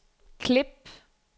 klip